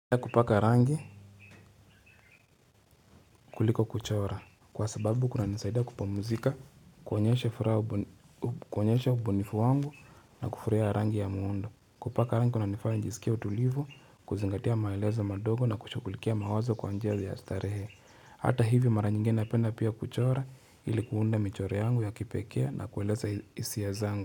Kupaka rangi kuliko kuchora kwa sababu kunanisaida kupumzika, kuonyesha ubunifu wangu na kufurahia rangi ya muundo. Kupaka rangi kunanifaya najisikia utulivu, kuzingatia maelezo madogo na kushughulikia mawazo kwa njia ya starehe. Hata hivi mara nyingi napenda pia kuchora ili kuunda michoro yangu ya kipekee na kueleza hisia zangu.